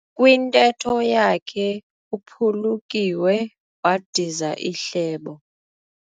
Kwintetho yakhe uphulukiwe wadiza ihlebo.